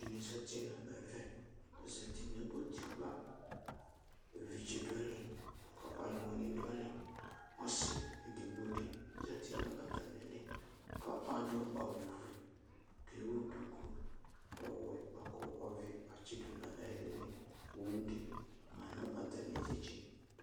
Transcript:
Alʋɛdini zati nʋ ɛvɛ, azati nʋ utikpa evidze dʋ ayli lakʋ ɔlʋwini dʋ ayili ɔsi edignodi zati nʋ atami ili , adʋ awʋfue, kʋ ewʋ dʋkʋ ɔwɛ bʋakʋ ɔvɛ atsidʋ nʋ ayili owʋdi manʋ atami inetse